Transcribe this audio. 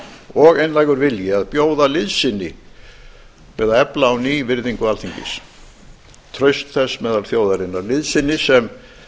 og einlægur vilji að bjóða liðsinni við að efla á ný virðingu alþingis traust þess meðal þjóðarinnar liðsinni sem